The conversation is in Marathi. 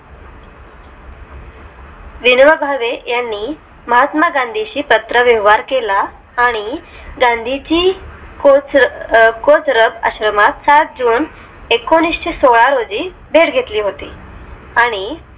विनोबा भावे यांनी महात्मा गांधींशी पात्र व्यवहार केला आणि गांधीजी कोचरब आश्रमात सात june एकोणीशेसोळा रोजी भेट घेतली होती